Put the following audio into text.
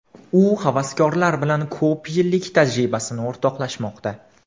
U havaskorlar bilan ko‘p yillik tajribasini o‘rtoqlashmoqda.